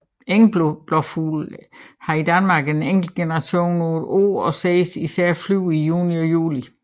Engblåfugl har i Danmark en enkelt generation på et år og ses især flyve i juni og juli